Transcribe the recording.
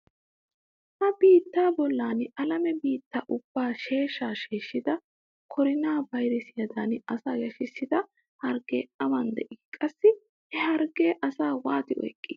Ha biittaa bollan alame biittaa ubbaa sheeshshaa sheeshshida korona bayresiyadan asaa yashshida harggee awan de'ii? Qassi he harggee asaa waati oyqqii?